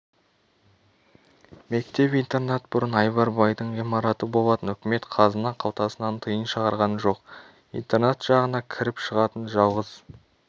мектеп-интернат бұрын айбар байдың ғимараты болатын үкімет қазына қалтасынан тиын шығарған жоқ интернат жағына кіріп-шығатын жалғыз